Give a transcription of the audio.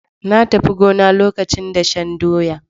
Na tafi gona lokacin dashen doya.